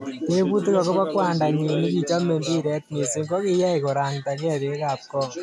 Teputik akobo kwanda nyin nikichome mbiret mising kokiyay korangda gee bek ab kong.